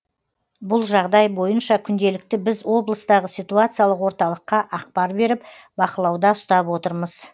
бұл жағдай бойынша күнделікті біз облыстағы ситуациялық орталыққа ақпар беріп бақылауда ұстап отырмыз